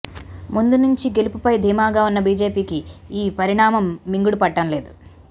ముందు నుంచి గెలుపుపై దీమాగా ఉన్న బిజెపికి ఈ పరిణామం మింగుడుపడటంలేదు